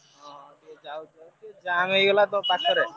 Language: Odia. ହଁ ସିଏ ଯାଉଛନ୍ତି ସେ jam ହେଇଗଲା ତ ପାଖରେ।